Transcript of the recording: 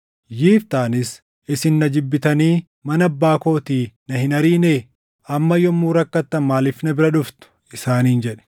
Yiftaanis, “Isin na jibbitanii mana abbaa kootii na hin ariinee? Amma yommuu rakkattan maaliif na bira dhuftu?” isaaniin jedhe.